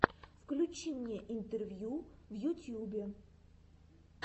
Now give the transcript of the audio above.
включи мне интервью в ютьюбе